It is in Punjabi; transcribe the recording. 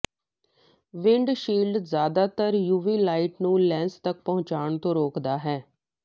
ਵਿੰਡਸ਼ੀਲਡ ਜ਼ਿਆਦਾਤਰ ਯੂਵੀ ਲਾਈਟ ਨੂੰ ਲੈਂਜ਼ ਤੱਕ ਪਹੁੰਚਣ ਤੋਂ ਰੋਕਦਾ ਹੈ